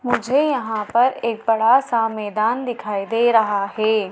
मुझे यहां पर एक बड़ा सा मैदान दिखाई दे रहा है।